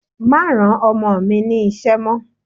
Má rán Ọmọ mi ní ṣẹ́ mọ́.